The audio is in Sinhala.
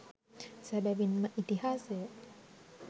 සැබැවින් ම ඉතිහාසය